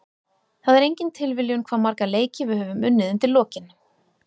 Það er engin tilviljun hvað marga leiki við höfum unnið undir lokin.